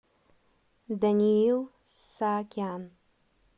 даниил саакян